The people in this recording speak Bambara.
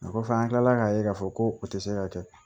O kɔfɛ an tilala k'a ye k'a fɔ ko o tɛ se ka kɛ